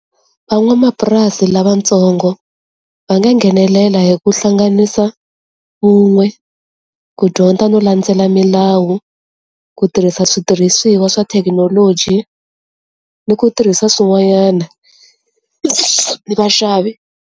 Van'wamapurasi lavatsongo va nga nghenelela hi ku hlanganisa vun'we ku dyondza no landzela milawu ku tirhisa switirhisiwa swa thekinoloji ni ku tirhisa swin'wanyana ni vaxavi.